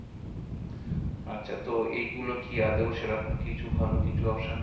আচ্ছা তো এইগুলো কি আদেও সেরকম কিছু ভালো কিছু option